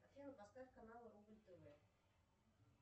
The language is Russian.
афина поставь канал рубль тв